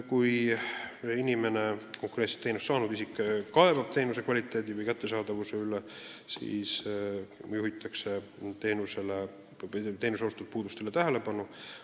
Kui inimene, konkreetset teenust saanud isik, kaebab teenuse kvaliteedi või kättesaadavuse üle, siis juhitakse teenuse osutamise puudustele tähelepanu.